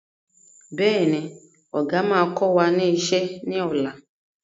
Bẹ́ẹ̀ni, Ọ̀gá máa kọ wá ní ìṣe ni ọ̀la.